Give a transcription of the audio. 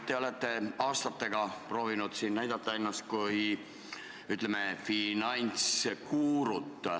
Te olete aastatega proovinud siin end näidata kui finantsguru.